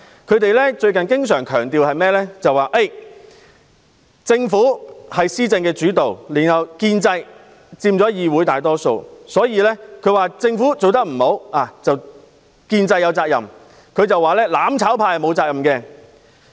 他們最近經常強調，政府是施政主導，建制派又佔議會大多數，認為政府做得不好，建制派有責任，"攬炒派"沒有責任。